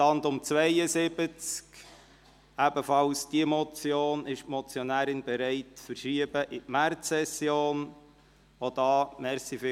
Auch bei dieser Motion ist die Motionärin mit einer Verschiebung in die Märzsession einverstanden.